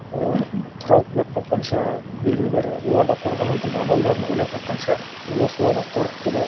олар тапқанша белгілі бір олардан қорғанудың амалдарын ойлап тапқанша олар солардан қорықты да